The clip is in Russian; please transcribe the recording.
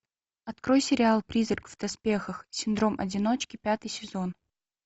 открой сериал призрак в доспехах синдром одиночки пятый сезон